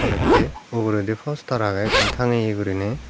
uitte uguredi fostar agey ekkan tanegeye guriney.